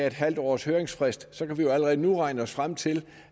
en halv års høringsfrist kan vi jo allerede nu regne os frem til